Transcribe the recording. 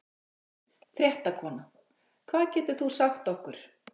Fréttakona: Hvað getur þú sagt okkur?